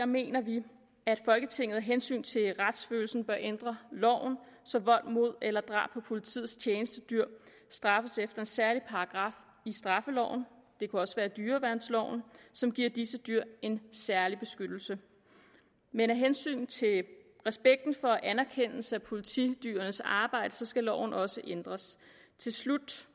mener vi at folketinget af hensyn til retsfølelsen bør ændre loven så vold mod eller drab på politiets tjenestedyr straffes efter en særlig paragraf i straffeloven det kunne også være dyreværnsloven som giver disse dyr en særlig beskyttelse men af hensyn til respekten for anerkendelse af politidyrenes arbejde skal loven også ændres til slut